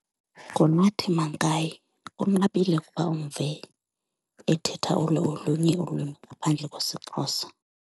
NguNathi Mankayi, kunqabile ukuba umve ethetha olu olunye ulwimi ngaphandle kwesiXhosa.